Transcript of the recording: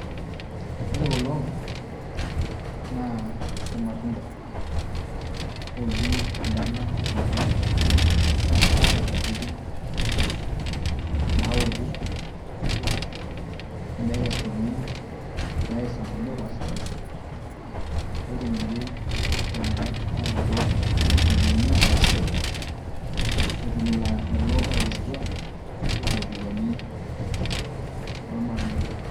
Ore kulo naa irmatunda ooji enkarna emaembe keeta nkatitin naouku nekesuni, neyai sokonini opaashipaasha netumoki iltung'anak aanoto iropiani arashu etum lelo ootekesutua iropiani ormatunda lenye.